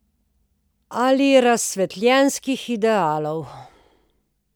Ali razsvetljenskih idealov.